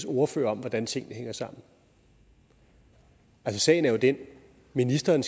ordfører om hvordan tingene hænger sammen sagen er jo den at ministeren